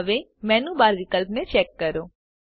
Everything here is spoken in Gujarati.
હવે મેનૂ બાર વિકલ્પને ચેક કરો